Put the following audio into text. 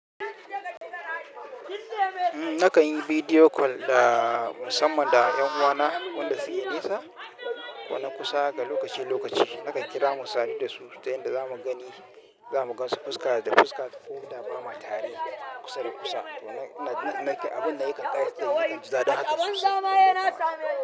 Nakan yi video call da musamman da 'yan uwana wanda suke nisa ko na kusa lokaci-lokaci. Nakan kira mu sadu da su ta yanda za mu gani, za mu gansu fuska da fuska ko da ba mu tare kusa da kusa. To ina nake abin da yakan ƙayatar dan hada su da mu.